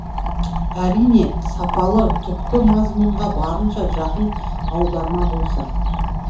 әрине сапалы түпкі мазмұнға барынша жақын аударма болса